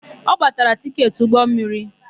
Ọ gbatala tịketị ụgbọmmiri?